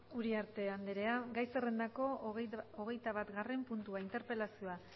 uriarte andrea gai zerrendako hogeitabatgarren puntua interpelazioa